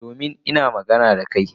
Domin ina magana da ka.